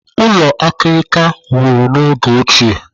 Ụlọ akirika wuru n'oge ochie.